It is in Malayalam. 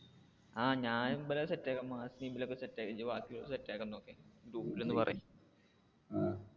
ആ ഞാൻ set ആക്കാൻ പോണു team set ഇജ്ജ് ബാക്കി ഉള്ളവരെ set ആക്കാൻ നോക്ക് group ൽ ഒന്ന് പറയ്.